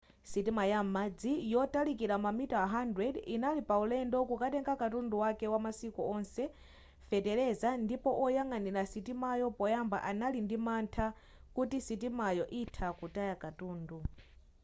sitima ya m'madzi yotalika mamita 100 inali pa ulendo kukatenga katundu wake wamasiku onse feteleza ndipo oyang'anira sitimayo poyamba anali ndi mantha kuti sitimayo itha kutaya katundu